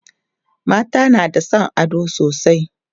mata na da San ado sosai